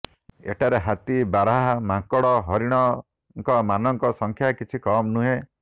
ଏଠାରେ ହାତୀ ବାର୍ାହା ମାଙ୍କଡ ହରିଣ ଙ୍କ ମାନଙ୍କ ସଂଖ୍ୟା କିଛି କମ ନୁହେଁ